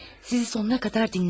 Sizi sonuna qədər dinləmədim.